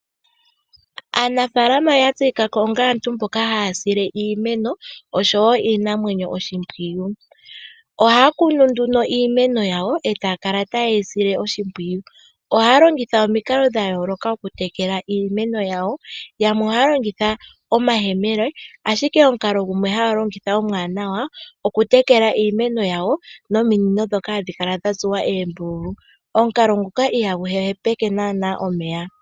Aanafalama oya tseyikako onga aantu mboka haya sile iimeno oshowo iinamwenyo oshimpwiyu. Ohaya kunu nduno iimeno yawo e taya kala taye yi sile oshimpwiyu. Ohaya longitha omikalo dha yooloka okutekela iimeno yawo, yamwe ohaya longitha omayemele ashike omukalo gumwe haya longitha omuwanawa okutekela iimeno yawo nominino ndhoka hadhi kala dha tsuwa oombululu. Omukalo nguka ihagu hepeke naana omeya.